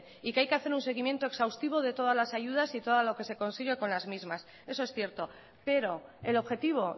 y que hay que hacer un seguimiento exhaustivo de todas las ayudas y todo lo que se consigue con las mismas eso es cierto pero el objetivo